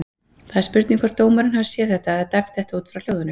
Það er spurning hvort dómarinn hafi séð þetta eða dæmt þetta út frá hljóðinu?